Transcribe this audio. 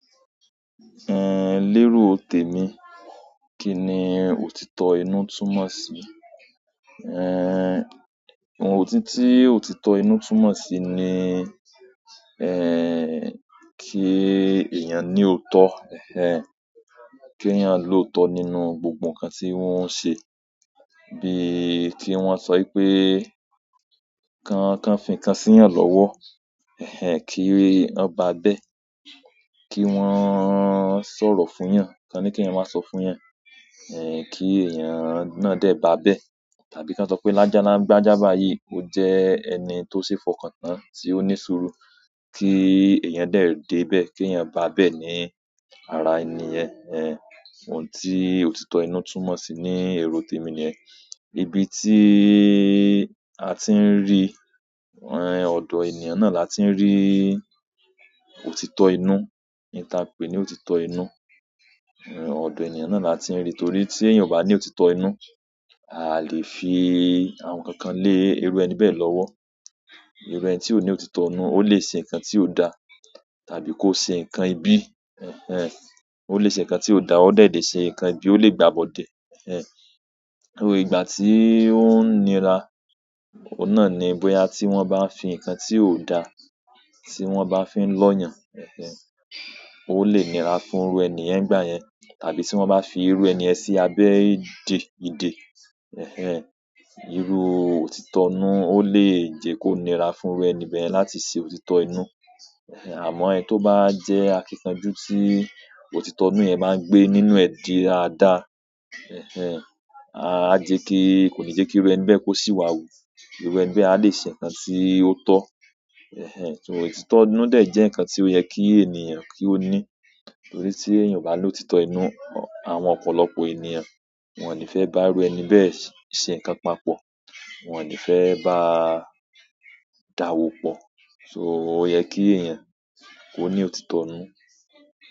Lérò tèmi, kí ni òtítọ́ inú túmọ̀ sí? Ohun ti ótítọ́ inú túmọ̀ sí ni, kí èèyàn ní òótọ́, kí èèyàn lòótọ́ nínú gbogbo nǹkan tí o ń ṣe. Bí i kí wọ́n sọ wípé, kán fi ǹnkan sí iyàn lọ́wọ́, kí ó ba bẹ́ẹ̀. Kí wọ́n sọ̀rọ̀ fún ìyàn, ká ní kí èèyàn máa sọ fún ìyàn, kí èèyàn náà dé bá bẹ́ẹ̀. Tàbí kí wọ́n sọ pé lágbáá báyìí, ó jẹ́ ẹni tó ṣe é fọkàn tán tí ó ní ṣurú kí èèyàn dẹ̀ dé bẹ́ẹ̀, kí èèyàn bá bẹ́ẹ̀ ní ara ènìyàn. Ohun tí òtítọ́ inú túmọ̀ sí ní èrò tèmi ni yẹn. Ibi tíí a ti ń rí, ọ̀dọ̀ ènìyàn náà la ti ń rí òtítọ́ inú ohun ta pè ní òtítọ́ inú. Ọ̀dọ̀ ènìyàn náà la ti ń rí torí tí èèyàn ò bá ní òtítọ́ inú, à lè fi àwọn nnkankan lé irú ẹni bẹ́ẹ̀ lọ́wọ́. Irú ẹni tí ó ní òtítọ́ inú, ó lè ṣe nǹkan tí ó da, tàbí kó ṣe nǹkan ibi. Ó lè ṣe nǹkan tí ó da, ó de lèṣe nǹkan ibi, ó lè gbà bọ̀dẹ̀. So ìgbà tíí ó ń nira, ohun náà ni bóyá tí wọ́n bá fi nǹkan tí ó da, tí wọ́n bá fi ń lọ́yàn, ó lè nira fún irú ẹni yen ìgbà yẹn. Tàbí tí wọ́n bá fi irú ẹni yẹ̀n sí abẹ́ idè, irú òtítọ́ inú ó lè jẹ́ kó nira fún irú ẹni bẹ́ẹ̀ láti ṣe òtítọ́ inú. Àmọ́ ẹni tó bá jẹ́ akíkanjú tí òtítọ́ inú yẹ̀n bá ń gbé nínú ẹ̀ di á dá. Á jẹ́ kí, kò ní jẹ́ kí irú ẹni bẹ́ẹ̀ kó sì wá wùú. Irú ẹni bẹ́ẹ̀ a lè ṣe nǹkan tí ó tọ́. So òtítọ́ inú de jẹ́ nǹkan tí ó yẹ kí ènìyàn kí ó ní. Torí tí èèyàn ò bá ní òtítọ́ inú, àwọn ọ̀pọ̀lọpọ̀ ènìyàn wọ́n ò ní fẹ́ bá irú ẹni bẹ́ẹ̀ ṣe nǹkan papọ̀. Wọ́n ò ní fẹ́ bá a dàwò pọ̀. So ó yẹ kí èèyàn kó ní òtítọ́ inú.